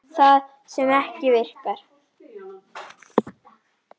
Það sem ekki virkar